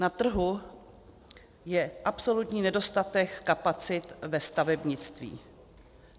Na trhu je absolutní nedostatek kapacit ve stavebnictví.